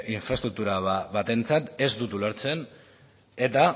infraestruktura batentzat ez dut ulertzen eta